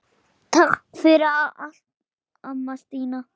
Takk fyrir allt, amma Stína.